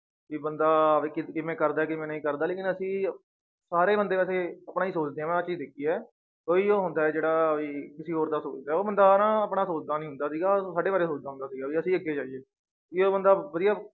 ਵੀ ਬੰਦਾ ਕਿਵੇਂ ਕਰਦਾ ਹੈ ਕਿਵੇਂ ਨਹੀਂ ਕਰਦਾ ਲੇਕਿੰਨ ਅਸੀਂ ਸਾਰੇ ਬੰਦੇ ਵੈਸੇ ਆਪਣਾ ਹੀ ਸੋਚਦੇ ਹਾਂ ਮੈਂ ਆਹ ਚੀਜ਼ ਦੇਖੀ ਹੈ, ਕੋਈ ਉਹ ਹੁੰਦਾ ਹੈ ਜਿਹੜਾ ਵੀ ਕਿਸੇ ਹੋਰ ਦਾ ਸੋਚਦਾ ਹੈ, ਉਹ ਬੰਦਾ ਨਾ ਆਪਣਾ ਸੋਚਦਾ ਨੀ ਹੁੰਦਾ ਸੀਗਾ ਸਾਡੇ ਬਾਰੇ ਸੋਚਦਾ ਹੁੰਦਾ ਸੀਗਾ ਵੀ ਅਸੀਂ ਅੱਗੇ ਜਾਈਏ, ਵੀ ਉਹ ਬੰਦਾ ਵਧੀਆ